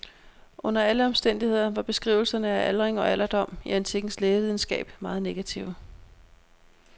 Under alle omstændigheder var beskrivelserne af aldring og alderdom i antikkens lægevidenskab meget negative.